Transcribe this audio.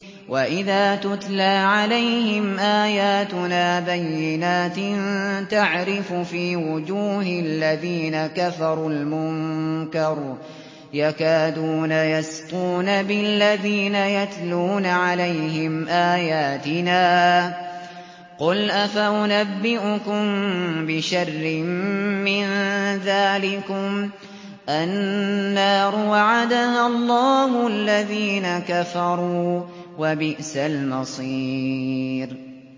وَإِذَا تُتْلَىٰ عَلَيْهِمْ آيَاتُنَا بَيِّنَاتٍ تَعْرِفُ فِي وُجُوهِ الَّذِينَ كَفَرُوا الْمُنكَرَ ۖ يَكَادُونَ يَسْطُونَ بِالَّذِينَ يَتْلُونَ عَلَيْهِمْ آيَاتِنَا ۗ قُلْ أَفَأُنَبِّئُكُم بِشَرٍّ مِّن ذَٰلِكُمُ ۗ النَّارُ وَعَدَهَا اللَّهُ الَّذِينَ كَفَرُوا ۖ وَبِئْسَ الْمَصِيرُ